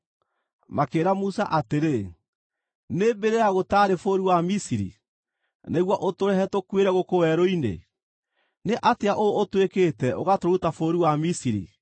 Makĩĩra Musa atĩrĩ, “Nĩ mbĩrĩra gũtaarĩ bũrũri wa Misiri, nĩguo ũtũrehe tũkuĩre gũkũ werũ-inĩ? Nĩ atĩa ũũ ũtwĩkĩte ũgatũruta bũrũri wa Misiri?